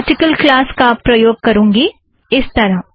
मैं article class का उपयोग करुँगी - इस तरह